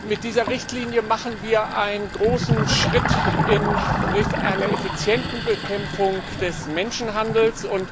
Mit dieser Richtlinie machen wir einen großen Schritt in Richtung einer effizienten Bekämpfung des Menschenhandels.